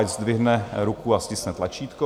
Ať zdvihne ruku a stiskne tlačítko.